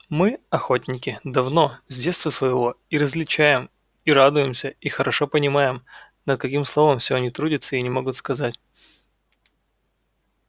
мы охотники давно с детства своего и различаем и радуемся и хорошо понимаем над каким словом всё они трудятся и не могут сказать